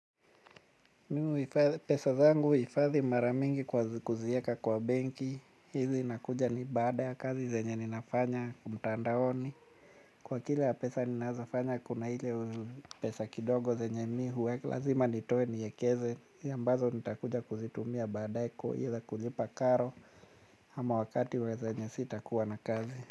Mimi pesa zangu huifadhi mara mingi kwa kuzieka kwa benki, hizi nakuja ni baada ya kazi zenye ninafanya umtandaoni. Kwa kile ya pesa ninazofanya kuna ile pesa kidogo zenye mihuweka lazima nitoe niekeze, ya ambazo nitakuja kuzitumia badae ya kuhila kulipa karo ama wakati wa zenye si takuwa na kazi.